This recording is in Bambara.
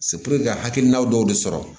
ka hakilina dɔw de sɔrɔ